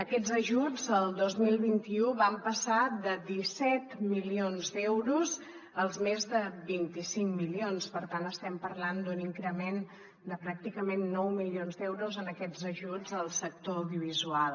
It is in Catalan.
aquests ajuts el dos mil vint u van passar de disset milions d’euros als més de vint cinc milions per tant estem parlant d’un increment de pràcticament nou milions d’euros en aquests ajuts al sector audiovisual